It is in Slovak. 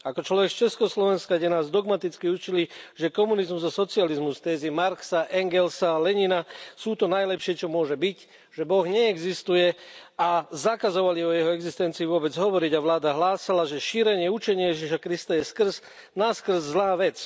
Ako človek z Československa, kde nás dogmaticky učili, že komunizmus a socializmus, tézy Marxa, Engelsa, Lenina sú to najlepšie, čo môže byť, že Boh neexistuje, a zakazovali o jeho existencii vôbec hovoriť a vláda hlásala, že šírenie učenia Ježiša Krista je skrz naskrz zlá vec.